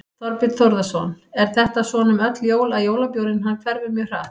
Þorbjörn Þórðarson: Er þetta svona um öll jól að jólabjórinn hann hverfur mjög hratt?